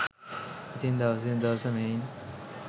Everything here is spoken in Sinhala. ඉතින් දවසින් දවස මෙයින්